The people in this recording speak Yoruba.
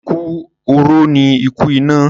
Ikú oró ni ikú ìná.